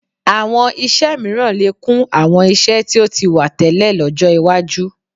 Àwọn iṣẹ́ mìíràn lè kún àwọn iṣẹ́ tí ó ti wà tẹ́lẹ̀ lọ́jọ́ iwájú